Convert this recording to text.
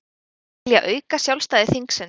Vilja auka sjálfstæði þingsins